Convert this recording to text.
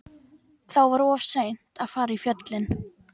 Þá var of seint að fara í fjöllin.